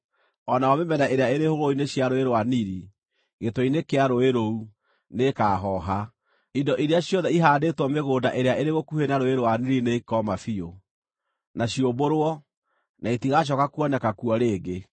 o nayo mĩmera ĩrĩa ĩrĩ hũgũrũrũ-inĩ cia Rũũĩ rwa Nili, gĩtwe-inĩ kĩa rũũĩ rũu, nĩĩkahooha. Indo iria ciothe ĩhaandĩtwo mĩgũnda ĩrĩa ĩrĩ gũkuhĩ na Rũũĩ rwa Nili nĩikooma biũ, na ciũmbũrwo, na itigacooka kuoneka kuo rĩngĩ.